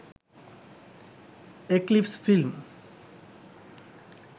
eclipse film